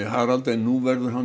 Harald en nú verður hann